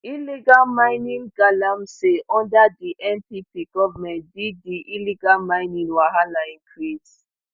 illegal mining galamsey under di npp goment di di illegal mining wahala increase